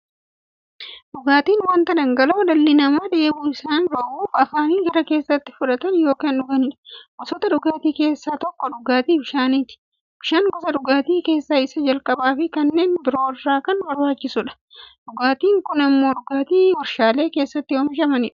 Dhugaatiin wanta dhangala'oo dhalli namaa dheebuu isaanii ba'uuf, afaaniin gara keessaatti fudhatan yookiin dhuganiidha. Gosoota dhugaatii keessaa tokko dhugaatii bishaaniti. Bishaan gosa dhugaatii keessaa isa jalqabaafi kanneen biroo irra kan barbaachisuudha. Dhugaatiin biroo immoo dhugaatii waarshalee keessatti oomishamaniidha.